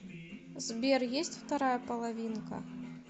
сбер есть вторая половинка